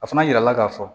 A fana yirala ka fɔ